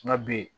Nka b